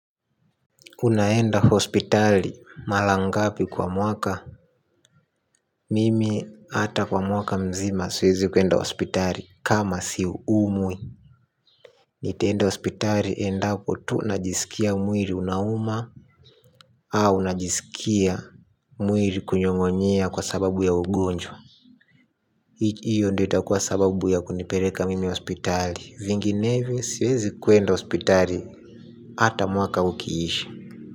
Unaenda hospitali mara ngapi kwa mwaka? Mimi hata kwa mwaka mzima siwezi kwenda hospitali kama siumwi. Nitaenda hospitali endapo tu najisikia mwili unauma. Au najisikia mwili kunyong'onyea kwa sababu ya ugonjwa. Hiyo ndiyo itakuwa sababu ya kunipeleka mimi hospitali. Vinginevyo, siwezi kwenda hospitali hata mwaka ukiisha.